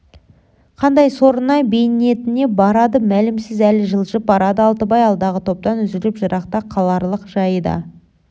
қандай сорына бейнетіне барады мәлімсіз әлі жылжып барады алтыбай алдағы топтан үзіліп жырақта қаларлық жайы да